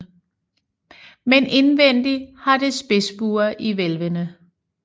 Men indvendig har det spidsbuer i hvælvene